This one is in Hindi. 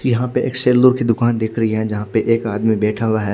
यहाँ पे एक शेलो की दूकान दिख रही है जहा पे एक आदमी बेठा हुआ है।